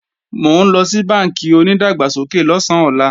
Mò ńlọ sí bánkì onìdàgbàsókè lọ̀sán ọlá